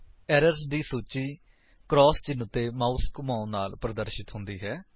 errors ਦੀ ਸੂਚੀ cross ਚਿੰਨ੍ਹ ਉੱਤੇ ਮਾਉਸ ਘੁਮਾਉਣ ਨਾਲ ਪ੍ਰਦਰਸ਼ਿਤ ਹੁੰਦੀ ਹੈ